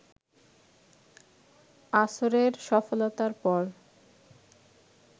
আসরের সফলতার পর